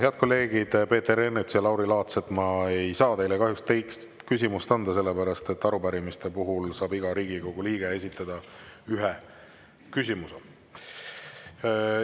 Head kolleegid Peeter Ernits ja Lauri Laats, ma ei saa teile kahjuks teist küsimust anda, sellepärast et arupärimiste puhul saab iga Riigikogu liige esitada ühe küsimuse.